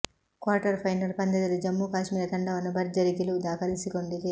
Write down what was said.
quarter final ಪಂದ್ಯದಲ್ಲಿ ಜಮ್ಮು ಕಾಶ್ಮೀರ ತಂಡವನ್ನು ಭರ್ಜರಿ ಗೆಲುವು ದಾಖಲಿಸಿಕೊಂಡಿದೆ